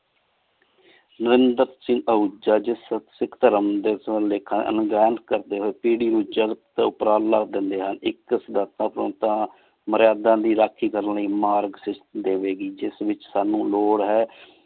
ਨਾਰ੍ਨ੍ਦਾਰ ਸਿੰਘ ਦਾ ਉਚਾ ਜੇਹਾ ਸਿਖ ਧਰਮ ਲੇਖਾਂ ਅਨੁ ਕਰਦੀ ਹੋਏ ਪੇਰ੍ਰੀ ਨੂ ਉਚਾ ਟੀ ਓਪੇਰ ਅਲ ਉਹਦਾ ਦੇਂਦੀ ਸਨ ਮਾਰ੍ਯਾਦਾਂ ਦੀ ਰਾਖੀ ਕਰਨ ਲੈ ਮਾਰ ਸਿਖ ਦੇਵੀ ਗੀ ਜਿਸ ਵਿਚ ਸਾਨੂ ਲੋਰਰ ਹੈ